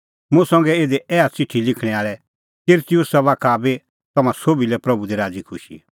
मुंह संघै इधी ऐहा च़िठी लिखणैं आल़ै तिरतियुसा बाखा बी तम्हां सोभी लै प्रभू दी राज़ीखुशी